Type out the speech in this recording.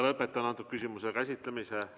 Lõpetan antud küsimuse käsitlemise.